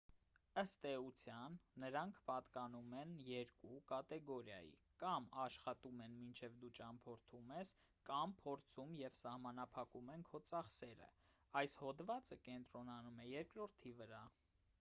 ըստ էության նրանք պատկանում են երկու կատեգորիայի կամ աշխատում են մինչ դու ճանապարհորդում ես կամ փորձում և սահմանափակում են քո ծախսերը այս հոդվածը կենտրոնանում է երկրորդի վրա